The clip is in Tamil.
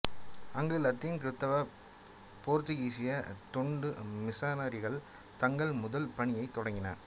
அங்கு இலத்தீன் கிறிஸ்தவ போர்த்துகீசிய தொண்டு மிசனரிகள் தங்கள் முதல் பணியைத் தொடங்கினர்